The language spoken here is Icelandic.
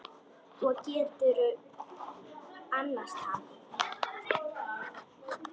Og geturðu annast hann?